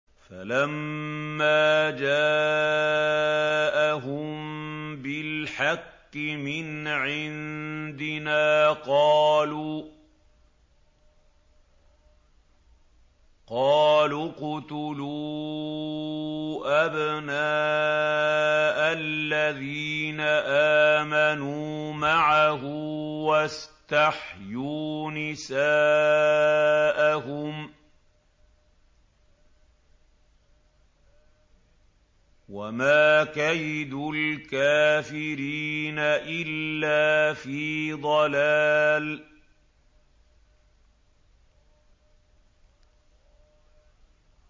فَلَمَّا جَاءَهُم بِالْحَقِّ مِنْ عِندِنَا قَالُوا اقْتُلُوا أَبْنَاءَ الَّذِينَ آمَنُوا مَعَهُ وَاسْتَحْيُوا نِسَاءَهُمْ ۚ وَمَا كَيْدُ الْكَافِرِينَ إِلَّا فِي ضَلَالٍ